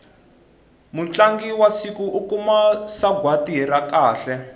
mutlangi wa siku u kuma sagwati ra kahle